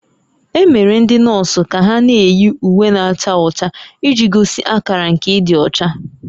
E mere ndị nọọsụ ka ha na-eyi uwe na-acha ọcha iji gosi akara nke ịdị ọcha